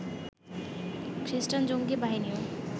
খ্রিষ্টান জঙ্গি বাহিনীও